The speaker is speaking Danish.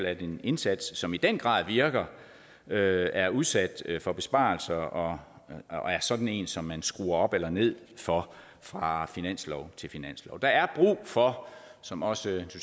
at en indsats som i den grad virker er er udsat for besparelser og er sådan en som man skruer op eller ned for fra finanslov til finanslov der er brug for som også